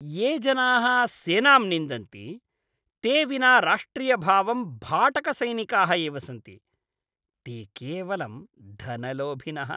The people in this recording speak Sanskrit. ये जनाः सेनां निन्दन्ति ते विना राष्ट्रियभावं भाटकसैनिकाः एव सन्ति। ते केवलं धनलोभिनः।